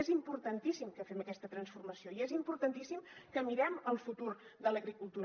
és importantíssim que fem aquesta transformació i és importantíssim que mirem el futur de l’agricultura